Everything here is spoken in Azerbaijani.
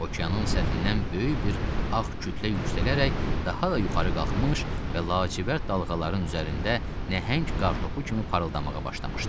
Okeanın səthindən böyük bir ağ kütlə yüksələrək daha da yuxarı qalxmış və lacivərd dalğaların üzərində nəhəng qartopu kimi parıldamağa başlamışdı.